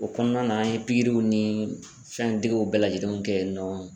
O kɔnɔna na an ye pikiriw ni fɛndegew bɛɛ lajɛlen kɛ yen nɔ.